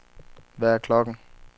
Hvad er klokken